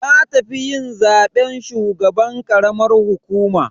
Na tafi yin zaben shugaban karamar hukuma.